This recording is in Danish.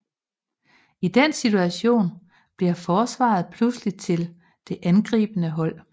I den situation bliver forsvaret pludselig til det angribende hold